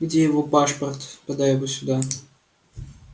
где его пашпорт подай его сюда